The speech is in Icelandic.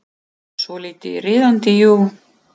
Svolítið riðandi, jú.